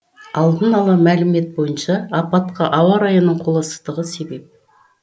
алдын ала мәлімет бойынша апатқа ауа райының қолайсыздығы себеп